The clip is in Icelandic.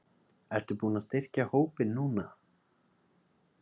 Ertu búinn að styrkja hópinn núna?